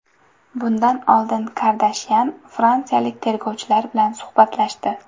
Bundan oldin Kardashyan fransiyalik tergovchilar bilan suhbatlashdi.